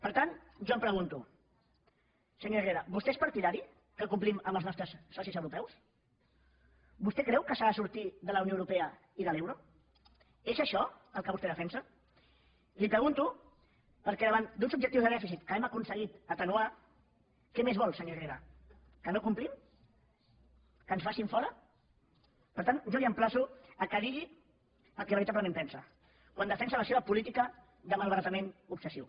per tant jo em pregunto senyor herrera vostè és partidari que complim amb els nostres socis europeus vostè creu que s’ha de sortir de la unió europea i de l’euro és això el que vostè defensa li ho pregunto perquè davant d’uns objectius de dèficit que hem aconseguit atenuar què més vol senyor herrera que no complim que ens facin fora per tant jo l’emplaço que digui el que veritablement pensa quan defensa la seva política de malbaratament obsessiu